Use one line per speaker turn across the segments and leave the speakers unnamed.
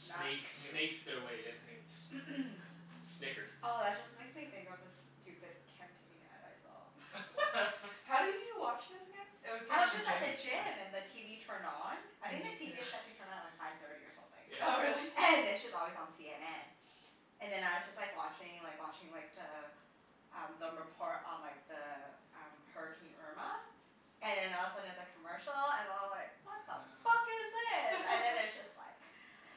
Snuck.
snaked their way in. S-
Snooked.
snickered.
Oh, that just makes me think of this stupid campaign ad I saw.
What?
How do you watch this again? It w- came
I
in
was
the
just
At
at
the
the
gym?
gym.
gym and the TV turned on. I think
And
the
you couldn't
TV is set to turn on at like five thirty or something.
Oh, really?
Yeah.
And it's just always on CNN. And then I was just like watching like watching like the um the report on like the um, Hurricane Irma. And then all of a sudden it's a commercial, and I'm like "What the fuck is this?" And then it's just like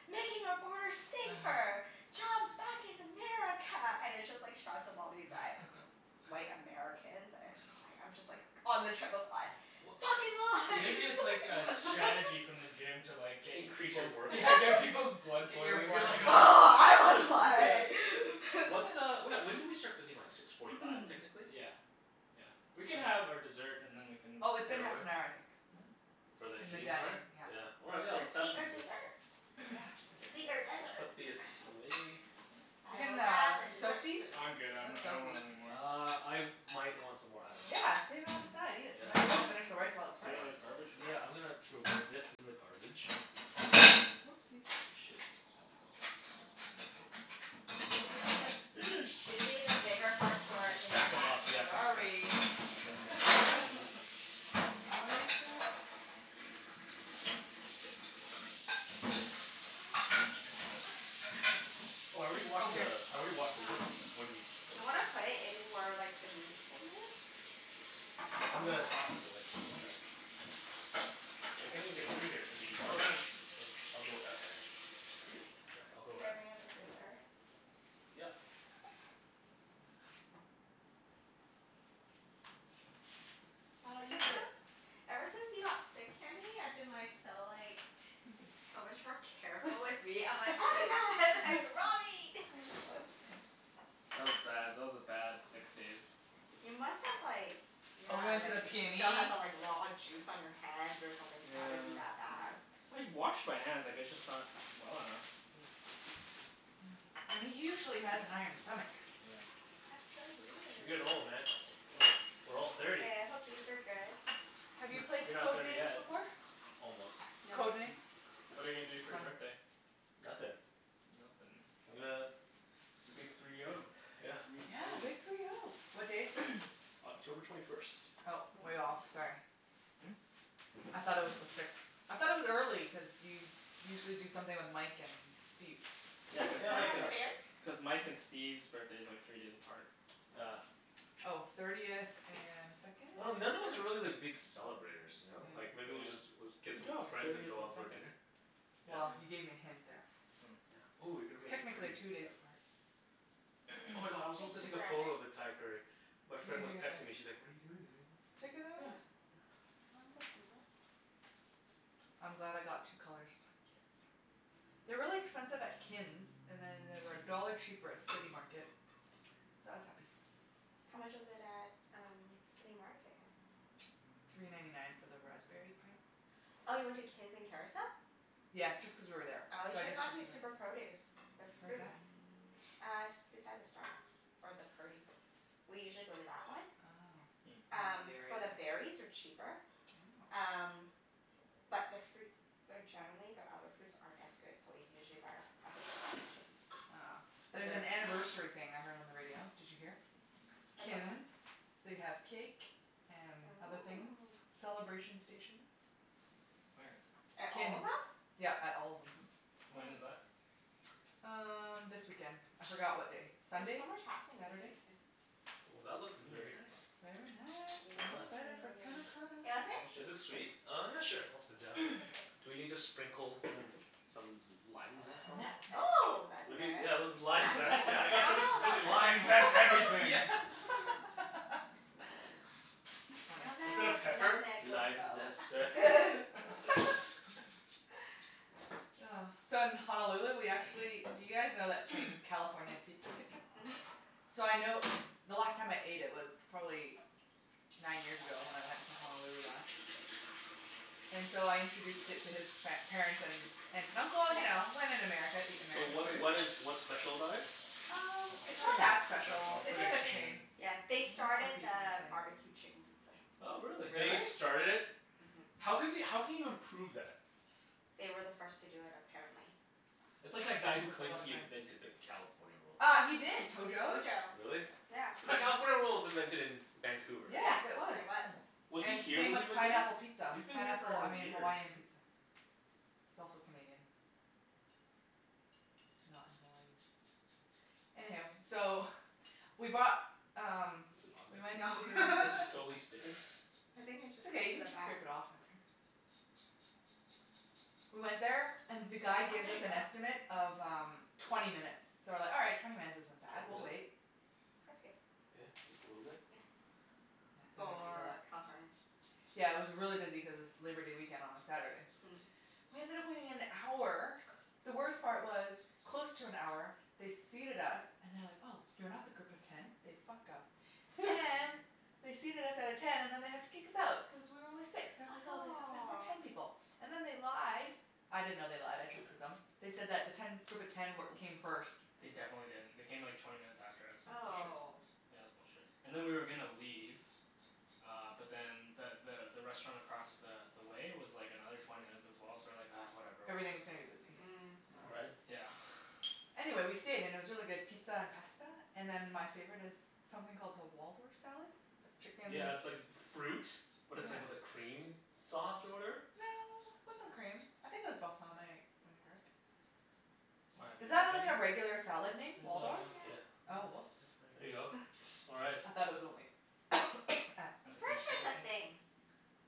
"Making our borders safer!" "Jobs back in America!" And it's just like shots of all these like white Americans and it's just like, I'm just like on the treadmill like
W-
"Fucking
Maybe it's like a
lies!"
strategy from the gym to like get y-
Increase your
people's
workout,
Yeah,
yeah.
get people's blood
Get your
boiling
You're
blood
like
I was
Yeah.
like
What uh, wh- when did we start cooking? Like six forty five technically?
Yeah. Yeah. We can
So
have our dessert and then we can
Oh, it's been
Head
half
over?
an hour, I think. Mhm.
For the
And the
eating
dining,
part?
yeah.
Yeah, all right let's
Let's eat our dessert.
Yeah,
Let's eat our
Dessert.
desserts.
We'll
desert.
put this away.
We
I will
can
grab
uh
the dessert
soak these?
spoons.
I'm good. I'm n-
Let's
I
soak
don't
these.
want anymore.
Uh, I might want some more. I dunno.
Yeah, save it on the side. Eat it.
Yeah.
Might as well finish the rice while it's
Is
fresh.
Hold
there
on.
a garbage for
Yeah,
that?
I'm gonna throw this in the garbage.
Whoopsies.
Oh shit.
Susie the Susie, the bigger forks were
Just
in the
stack 'em
back
up. Yeah,
corner.
just stack
Sorry.
Yeah, yeah.
I messed up.
Oh, I already
Oh,
washed the,
here.
I already washed the
Oh.
wood
Do
wooden board.
you wanna put it in where like the meat thing is?
Yeah, I'm gonna
Hmm?
toss this away.
Yeah.
I can't even get through here to the
Go
garbage.
around.
I'll go around there.
Hmm?
One sec. I'll go
Should I
around.
bring out the dessert?
Yep.
Why
I've
don't you
just
sit?
felt Ever since you got sick, Kenny, I've been like so like so much more careful with meat. I'm like, "Oh my god, like raw meat."
That was bad. That was a bad six
Oh.
days.
You must have like yeah,
And we
Help.
went to
like
the
still have
PNE.
the like raw juice on your hands or something to have it be
Yeah.
that bad.
I washed my hands. I guess just not well enough. Hmm.
And he usually has an iron stomach.
Oh yeah.
That's so
You're
weird.
getting old, man.
Mm,
We're all
mm.
thirty.
Hey, I hope these are good.
Have you
Heh.
played
You're not
Code
thirty
Names
yet.
before?
Almost.
No.
Code Names?
What are you gonna do
It's
for your
fun.
birthday?
Nothin'.
Nothin'?
I'm gonna
The big three oh.
Yeah.
Three
Yeah, big
oh.
three oh. What day is sixth?
October twenty first.
Oh,
Ooh.
way off. Sorry.
Hmm?
I thought it was the sixth. I thought it was early cuz you usually do something with Mike and Steve.
Yeah, cuz
Can
Yeah,
I
Mike
like
pass
and
the
a
berries?
S- cuz Mike and Steve's birthday's like three days apart.
Yeah.
Oh. Thirtieth and second,
I dun- none of us
third?
are really like big celebrators, ya know? Like
Yeah.
maybe we just, was,
Yeah.
get
Good
some
job.
friends and
Thirtieth
go
and
out for a
second.
dinner.
Well,
Yeah.
you
Yeah.
gave me a hint there.
Oh.
Yeah. Ooh you're gonna make it pretty
Technically
and
two days
stuff.
apart.
Oh my god, I was supposed to take a photo of the Thai curry. My
You can
friend was texting me, she's like, "What are you doing today?"
Take another
Yeah.
one.
Yeah.
I'm glad I got two colors. Yes. They're really expensive at Kin's, and then they were a dollar cheaper at City Market. So I was happy.
How much was it at um City Market?
Three ninety nine for the raspberry
Oh.
pint.
Oh, you went to Kin's in Kerrisdale?
Yeah, just cuz we were there.
Oh, you
So I
should have
just
gone
checked
to
it out.
Super Produce. Their
Where's
fruit
that?
Uh, s- beside the Starbucks or the Purdy's. We usually go to that one.
Oh.
Hmm.
I don't know
Um,
the area
for the
enough.
berries are cheaper.
Oh.
Um, but their fruits they're generally, their other fruits aren't as good, so we usually buy our other fruits at Kin's.
Oh.
But
There's an
their
anniversary thing I heard on the radio. Did you hear?
About what?
Kin's. They have cake and other things.
Oh.
Celebration stations.
Where?
At
At all of
Kin's.
them?
Yep, at all of them.
When is
Oh.
that?
Um, this weekend. I forgot what day.
There's
Sunday?
so much happening this
Saturday?
weekend.
Ooh, that looks
Mmm.
very nice.
Very nice.
Well
I'm
done.
excited for panna
Yeah.
cotta.
Do you wanna sit?
Is it
Delicious.
sweet? Oh yeah, sure. I'll sit down.
You can sit.
Do we need to sprinkle, mm, some z- lime zest on there?
Nutmeg.
Oh, that'd be
Maybe,
good.
yeah that's the lime
Nutmeg?
zest. Yeah, I
I
got so much,
dunno
so many
about
limes.
Lime
Nutmeg.
zest
Yeah.
everything!
I
Funny.
Instead
dunno
of
if
pepper.
nutmeg will
"Lime
go.
zest, sir?"
Oh. So, in Honolulu we
Thank
actually, do you guys know that
you.
chain, California Pizza Kitchen?
Mhm.
So I know, the last time I ate it was probably nine years ago, when I went to Honolulu last. And so I introduced it to his par- parents, and aunt and uncle. You
Yeah.
know, when in America eat
So
American
what
food.
what is what's special about it?
Um,
It's
it's
not
not
really
that
special.
special.
It's
It's
like
like
a
a
chain.
chain.
Yeah.
Can
They
you not
started
repeat what I
the
say?
barbecue chicken pizza.
Oh, really?
Really?
They started it?
Mhm.
How can we how can you even prove that?
They were the first to do it, apparently.
That's
Oh,
like that guy who
there's a
claims
lot of
he
claims.
invented the California Roll.
Uh, he did. Tojo.
Tojo.
Really?
Yeah.
So the California Roll was invented in Vancouver.
Yeah,
Yes, it was.
there was.
Hmm.
Was he
And
here
same
when he
with
invented
pineapple
it?
pizza.
He's been here
Pineapple, I
for
mean
years.
Hawaiian pizza. It's also Canadian. Not in Hawaii. Anyhoo, so we bought um
Is it on
we went
No.
to
there? This is totally sticking.
I think it's
It's
just stuck
okay. You
to
can
the
just
back.
scrape it off after. We went there and the guy
Oh,
gives
there
us
ya
an
go.
estimate of um twenty minutes. So we're like, "All right. Twenty minutes isn't bad.
Twenty
We'll wait."
minutes?
That's good.
Yeah? Just a little bit?
Yeah.
Yeah, don't need to
For
eat
California?
Yeah, it was really busy cuz it's Labor Day weekend on a Saturday.
Mm.
We ended up waiting an hour. The worst part was, close to an hour they seated us and they're like, "Oh, you're not the group of ten." They fucked up and they seated us at a ten and then they had to kick us out, cuz we were only six. They're like,
Ah
"Oh, this is meant for ten
aw.
people." And then they lied. I didn't know they lied. I trusted them. They said that the ten group of ten wer- came first.
They definitely didn't. They came like twenty minutes after us.
That's bullshit.
Oh.
Yeah, it was bullshit. And then we were gonna leave uh but then the the the restaurant across the the way was like another twenty minutes as well, so we're like, "Ah, whatever, we're just"
Everything's gonna be busy.
Mm.
Yeah.
Right?
Yeah.
Anyway, we stayed. And it was really good pizza and pasta. And then my favorite is something called the Waldorf salad. It's like chicken
Yeah, it's like fruit, but
Yeah.
it's like with a cream sauce or whatever.
No, it wasn't cream. I think it was balsamic vinaigrette.
Why, have you
Is that
heard
like a
of it?
regular salad name? Waldorf?
It
Yeah.
Yes.
was
Oh, whoops.
a
There you go. All right.
I thought it was only at
At
I'm
the
pretty
bistro
sure it's a
kitchen?
thing.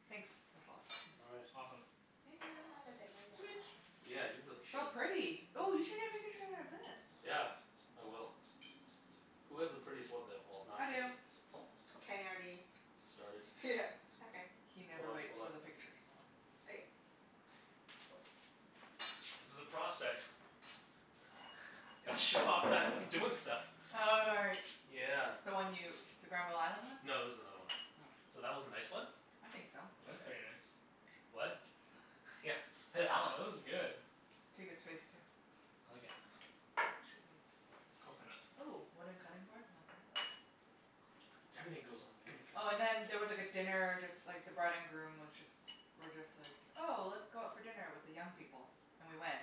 Thanks. That's lots,
All
thanks.
right.
Awesome.
Thank
I'll
you.
have a bit more,
Sweet.
yep, sure.
Yeah, you really should.
So pretty. Ooh, you should get a pic- picture of this.
Yeah, I will. Who has the prettiest one, though? Well, not
I
Kenny.
do.
Kenny already
Started.
Okay.
He
Hold
never
up,
waits
hold
for
up.
the pictures.
Okay.
Okay.
Cool.
This is a prospect. Gotta show off that I'm doing stuff.
Oh, right.
Yeah.
The one you, the Granville Island one?
No, this is another one.
Oh.
So, that was a nice one.
I think so.
That's very
Okay.
nice.
What? Yeah.
Oh, this is good.
Take his face, too.
I like it. Coconut.
Ooh, wooden cutting board, like that?
Everything goes on the wooden cutting
Oh and
board.
then there was like a dinner, just like the bride and groom was just were just like, 'Oh, let's go out for dinner with the young people." And we went.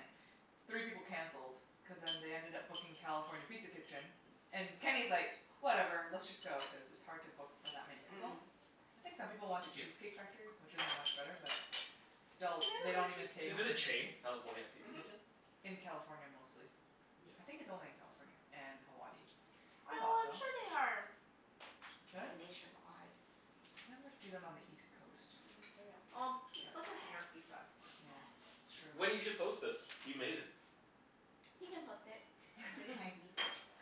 Three people canceled cuz then they ended up booking California Pizza Kitchen. And Kenny's like, "Whatever, let's just go." Cuz it's hard to book for that many people.
Mm.
I think some people wanted
'kyou.
Cheesecake Factory, which isn't much better but
They have
still, they don't
a
even
good Cheesecake
take
Is it a
Factory.
chain?
reservations.
California Pizza
Mhm.
Kitchen?
In California, mostly. I
Yeah.
think it's only in California and Hawaii. I
No,
thought so.
I'm sure they are
Really?
nationwide.
You never see them on the east coast.
Mm maybe I'm, well, east coast is New York Pizza.
Yeah, it's true.
Wenny, you should post this. You made it.
You can post it. And tag me.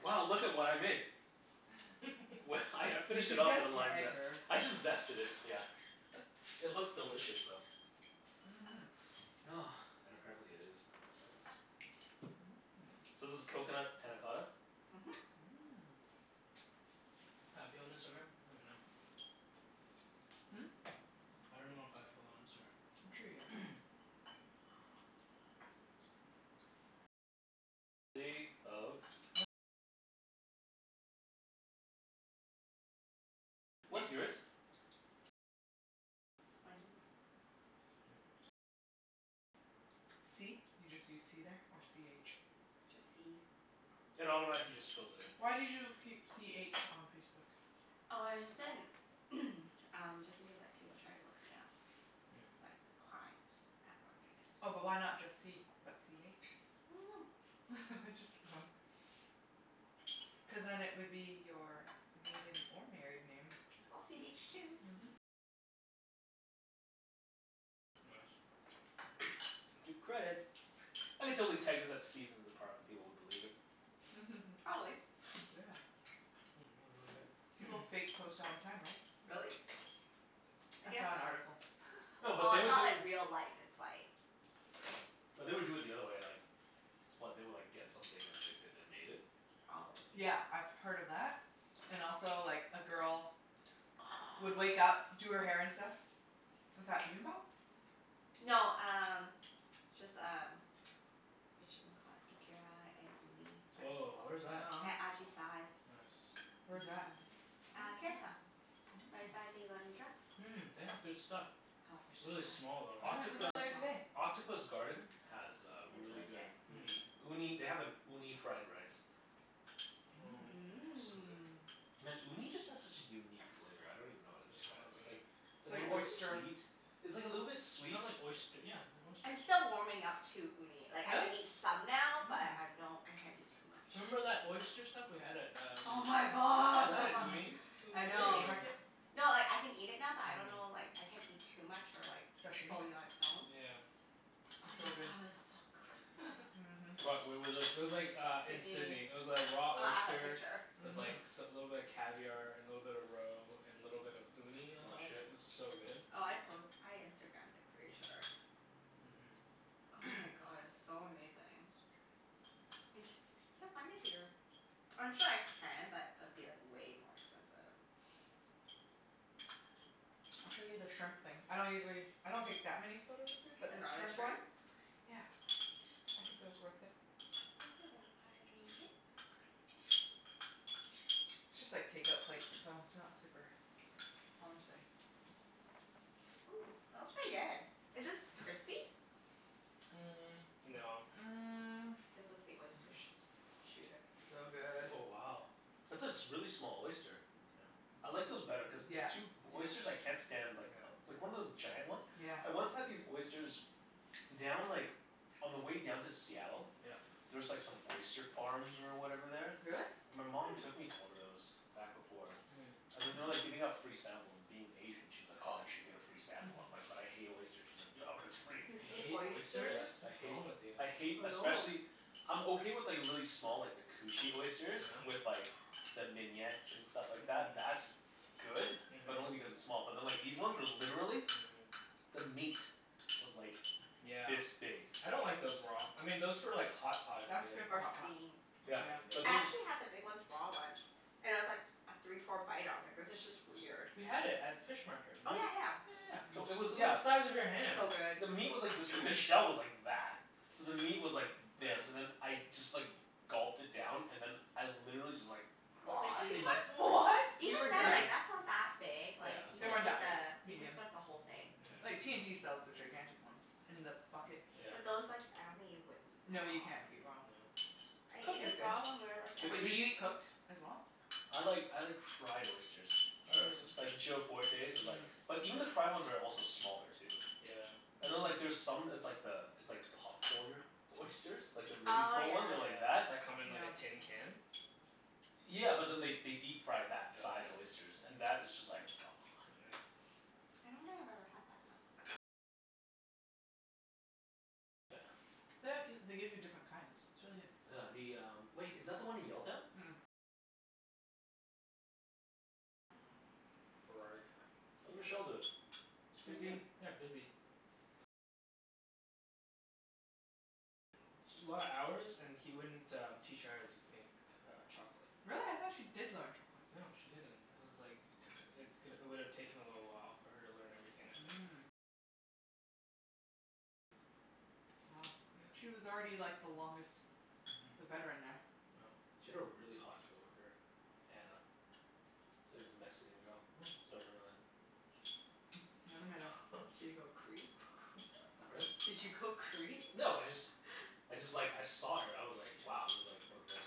Wow, look at what I made. Well, I I
You
finished
can
it off
just
with the lime
tag
zest.
her.
I just zested it, yeah. It looks delicious, though.
Mhm.
And apparently it is.
Mmm.
So this is coconut panna cotta?
Mhm.
Mmm.
I have you on Instagram? I don't even know.
Hmm?
I dunno if I have Phil on
I'm sure you do.
Instagram.
What's
Mrs.
yours?
Wenny.
C? You just use c there, or c h?
Just c.
It automatically just fills it in.
Why did you keep c h on Facebook?
Oh, I just didn't um, just in case like people try to look me up.
Mm.
Like, clients at work, and
Oh, but why
that's
not just c, but c h?
I dunno.
Just for fun. Cuz then it would be your maiden or married name.
C h two.
Mhm.
Gotta give credit. I could totally tag this at Seasons in the Park and people would believe it.
Probably.
Yeah.
Mmm, really good.
People fake post all the time, right?
Really? I
I
guess
saw an
so.
article.
No, but
Oh,
they
it's
would do
not like real life. It's like
but they would do it the other way, like What? They would like get something and then they'd say they made it?
Probably.
Yeah, I've heard of that and also, like, a girl would wake up,
Oh.
do her hair and stuff. Is that bibimbap?
No, um just um Whatchamacallit? Ikara and uni rice bowl.
Woah, where's that?
Yum.
At Ajisai.
Yes.
Where's that? I think
Uh,
I saw that
Kerrisdale.
one.
Right by the
Mm.
London Drugs.
Mmm, they have good stuff.
Oh, they're so
Really
good.
small though,
Why didn't
right?
we
Octopus
go
Really
there
small.
today?
Octopus Garden has uh
Is
really
really
good
good.
uni.
Hmm.
Uni, they have an uni fried rice.
Mmm.
Woah.
So good.
Mmm.
Man, uni just has such a unique flavor. I don't even know how to
Yeah, I
describe
love
it. It's
uni.
like
It's
a
like
little bit
oyster.
sweet, it's like a little bit
It's
sweet
kinda like oyst- yeah, they're
I'm
oysters.
still warming up to uni. Like, I
Really?
can eat some now, but
Mm.
I'm don't, I can't eat too much.
Remember that oyster stuff we had at um
Oh my
Yeah, that had
god.
Mm.
uni. It was
I
Fish
know.
amazing.
market?
No, like I can eat it now but I don't know
Mhm.
like, I can't eat too much or like
Sashimi?
fully on its own.
Yeah.
But oh
It's
my
so
god,
good.
it's so good.
Mhm.
What? Where was this?
It was like uh in
Sidney.
Sidney. It was like raw
Oh, I have a
oyster
picture.
with like
Mhm.
s- a little bit of caviar and a little bit of roe and a little bit of uni on
Aw,
top. It
shit.
was so good.
Oh, I post, I Instagramed it, pretty sure.
Mhm.
Oh my god, it was so amazing. And c- can't find it here. I'm sure I can but it'd be like way more expensive.
I'll show you the shrimp thing. I don't usually, I don't take that many photos of food, but
The
this
garlic
shrimp one
shrimp?
Yeah, I think it was worth it.
Let me see if I can find it.
It's just like take-out plates so it's not super fancy.
Ooh, that was pretty good. Is this crispy?
Mm, no.
Mm.
This was the
Mm-
oyster
mm.
sh- shooter.
So good.
Oh, wow. That's a s- a really small oyster.
Yeah.
I like those better cuz
Yeah.
two, oysters
Yeah.
I can't stand like
Yeah.
like one of those giant one?
Yeah.
I once had these oysters down like, on the way down to Seattle.
Yeah.
There's like some oyster farms or whatever there.
Really?
My mom took
Hmm.
me to one of those, back before.
Hmm.
And then they're
Mm.
like giving out free samples, and being Asian she's like, "Oh, you should get a free sample." I'm like, "But I hate oysters." She's like, "Yeah, but it's free."
You
You
hate
hate oysters?
Yeah,
oysters?
I
What's
hate,
wrong with you?
I hate,
I know.
especially I'm okay with like really small, like the cushy
Yeah?
oysters. With like the mignonette and stuff like that. That's good.
Mhm.
But only
Mhm.
because it's small. But then like these ones were literally
Mhm.
the meat was like
Yeah.
this big.
I don't like those raw. I mean those for like hot pot is
That's
good.
good for
Or
hot pot.
steam.
Or
Yeah,
Yeah.
but
steamed,
I
yeah.
then
actually had the big ones raw once. And I was like af- three four bite ah I was like this is just weird.
We had it at fish market,
Oh,
remember?
yeah yeah.
Yeah yeah
So
yeah.
it
It
Mm.
was
was,
the
yeah.
size of your hand.
So good.
The meat was like this b- the shell was like that. So the meat was like
Yeah.
this and then I just like gulped it down. And then I literally just like
Like these ones?
What? You
Even then,
regurg-
Yeah.
like that's not that big.
Yeah,
Like, you
it's
They
could
weren't
not
eat
that
that
big.
big.
the you can
Medium.
suck the whole thing.
Like,
Yeah yeah.
T&T sells the gigantic ones in the buckets.
Yeah.
But those like, I don't think you would eat
No,
raw.
you
Mm,
can't eat
no.
raw.
I ate
Cooked is
it
good.
raw when we were like
The
at
Wait, do you
a
cush-
eat cooked as well?
I like, I like fried oysters.
Fried oyster's
Mmm.
good.
Like Joe Fortes' is like
Mm.
but even the fried ones are also smaller, too.
Yeah.
And then like
Mhm.
there's some, it's like the, it's like popcornered oysters. Like the really
Oh,
small
yeah.
ones that are like
Yeah.
that.
That come in like
Yeah.
a tin can?
Yeah, but then they they deep fry
Oh
that size
yeah?
oysters. And that is just like
Right.
The g- they give you different kinds. It's really good.
Yeah, the um, wait, is that the one in Yaletown?
Burrard.
How's Rochelle doin'?
She's doing
Busy.
good. Yeah, busy. Sh- a lot of hours and he wouldn't um teach her how to make uh chocolate.
Really? I thought she did learn chocolate.
No, she didn't. It was like it took, it's g- it would've taken a little while for her to learn everything, I think. Yeah. Mhm. Yeah.
She had a really hot coworker. Anna. It was a Mexican girl. I
Mm.
still remember that.
Never met her.
Did you go creep?
Pardon?
Did you go creep?
No, I just I just like, I saw her. I was like, wow, this is like one of the most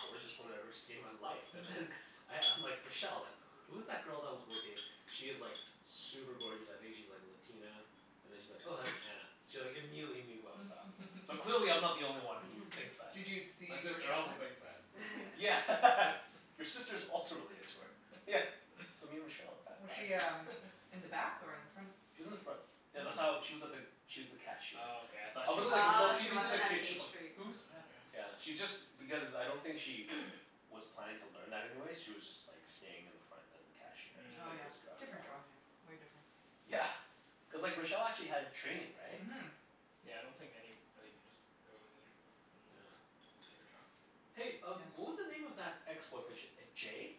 gorgeous women I've ever seen in my life. And then I I'm like, "Rochelle, like, who is that girl that was working?" "She is like super gorgeous. I think she's like Latina?" And then she's like, "Oh, that's Anna." She like immediately knew who I was talking about. So clearly I'm not the only one who thinks that.
Did you
My
see
sister
Rochelle
also
there?
thinks that.
Yeah. Your sister's also really into her. Yeah. So me and Rochelle
Was
have
she
had
um in the back or in the front?
She was in the front.
Oh.
Yeah,
Oh,
that's how,
Mm.
she was at the, she was the cashier.
okay, I thought
I
she
wasn't like
worked at
Mm.
Oh,
a
she
looking into the
wasn't a
kitchen like
Oh,
pastry
yeah
"Who's back"
yeah.
Yeah, she's just, because I don't think she was planning to learn that anyway. She was just like staying in the front as the cashier.
Oh
Like
yeah.
Mm.
Different job, yeah. Way different.
Yeah. Cuz like Rochelle actually had training, right?
Mhm.
Yeah, I don't think anybody can just go in there. And
Yeah.
yeah, get a job.
Hey um
Yeah.
what was the name of that ex-boyfriend? Sh- uh Jay?